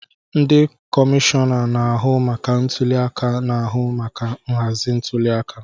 Ndị kọmishọna na-ahụ maka ntuli aka na-ahụ maka nhazi ntuliaka.